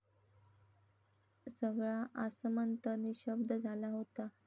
सगळा आसमंत निशब्द झाला होता.